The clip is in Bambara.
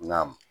N ka m